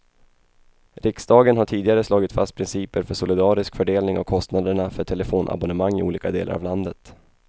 Riksdagen har tidigare slagit fast principer för solidarisk fördelning av kostnaderna för telefonabonnemang i olika delar av landet.